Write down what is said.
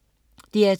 DR2: